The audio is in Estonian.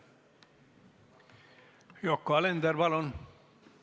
Yoko Alender, palun!